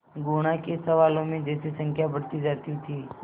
गुणा के सवालों में जैसे संख्या बढ़ती जाती थी